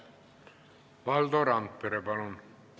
Valdo Randpere, palun!